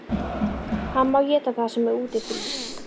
Hann má éta það sem úti frýs!